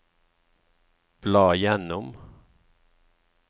bla gjennom